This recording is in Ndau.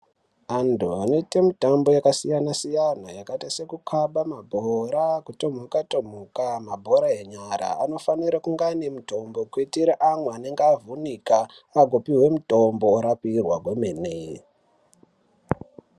Antu anoita mitambo yakasiyana siyana yakaita sekukaba mabhora kutomuka tomuka Mabhora enyara anofana kuitira amwe anenge avhunika akupihwa mitombo orapwa kwemene.